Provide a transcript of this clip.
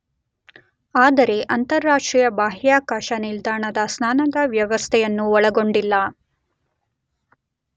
ಆದರೆ ಅಂತರರಾಷ್ಟ್ರೀಯ ಬಾಹ್ಯಾಕಾಶ ನಿಲ್ದಾಣದ ಸ್ನಾನದ ವ್ಯವಸ್ಥೆಯನ್ನು ಒಳಗೊಂಡಿಲ್ಲ.